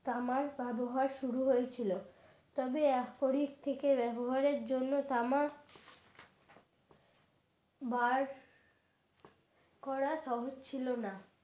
তামার ব্যবহার শুরু হয়েছিল তবে এখনই থেকে ব্যবহারের জন্য তামার বার করা সহজ ছিল না।